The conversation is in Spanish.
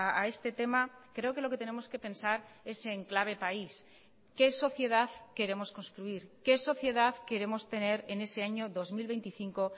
a este tema creo que lo que tenemos que pensar es en clave país qué sociedad queremos construir qué sociedad queremos tener en ese año dos mil veinticinco